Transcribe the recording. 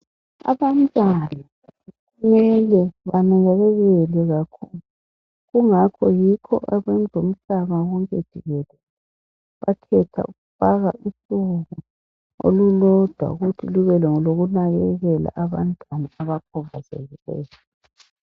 Abantwana kumele banakekelwe kakhulu kungakho yikho abezemhlaba wonke jikelele bakhetha ukufaka usuku olulodwa ukuthi lube ngolokunakekela abantwana abakhubazekileyo.